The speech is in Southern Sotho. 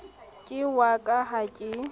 ke wa ka ha ke